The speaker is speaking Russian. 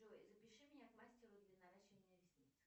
джой запиши меня к мастеру для наращивания ресниц